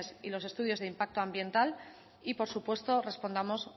y los estudios de impacto ambiental y por supuesto respondamos